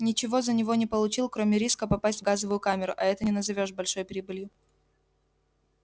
ничего за него не получил кроме риска попасть в газовую камеру а это не назовёшь большой прибылью